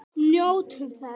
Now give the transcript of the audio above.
Njótum þess.